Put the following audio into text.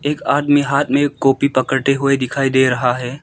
एक आदमी हाथ में कॉपी पकड़े हुए दिखाई दे रहा है।